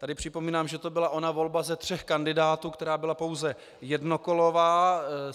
Tady připomínám, že to byla ona volba ze tří kandidátů, která byla pouze jednokolová.